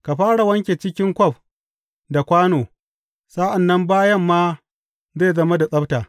Ka fara wanke cikin kwaf da kwano, sa’an nan bayan ma zai zama da tsabta.